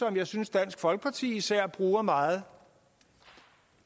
jeg synes dansk folkeparti især bruger meget